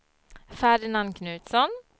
Ferdinand Knutsson